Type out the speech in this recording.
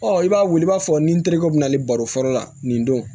Ɔ i b'a wuli i b'a fɔ ni terikɛ bɛ na ale baro fɔlɔ la nin don